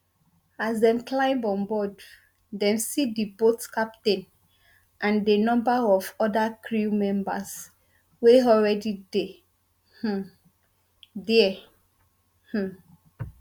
as dem climb on board dem see di boat captain and a number of oda crew members wey already dey um dia um